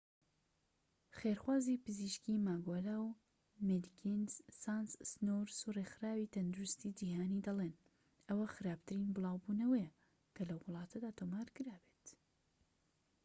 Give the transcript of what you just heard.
خێرخوازی پزیشکی ماگۆلا و مێدیکینز سانس سنورس و رێکخراوی تەندروستی جیهانی دەڵێن ئەوە خراپترین بڵاوبونەوەیە کە لەو وڵاتەدا تۆمارکرابێت